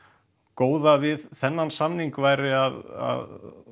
góða við þennan samning væri að